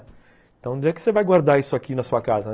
Então onde é que você vai guardar isso aqui na sua casa?